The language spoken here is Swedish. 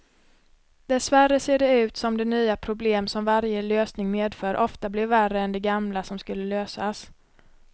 Dessvärre ser det ut som de nya problem som varje lösning medför ofta blir värre än de gamla som skulle lösas.